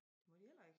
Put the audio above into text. Det må de heller ik